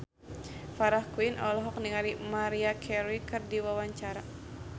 Farah Quinn olohok ningali Maria Carey keur diwawancara